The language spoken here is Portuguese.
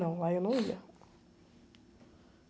Não, lá eu não ia.